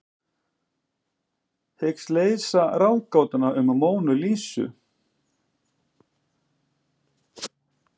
Hyggst leysa ráðgátuna um Mónu Lísu